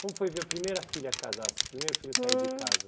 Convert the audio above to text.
Como foi ver a primeira filha casar assim, primeiro filho Hum Sair de casa?